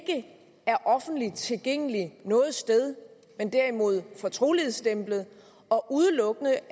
er offentligt tilgængelig noget sted men derimod er fortrolighedsstemplet og udelukkende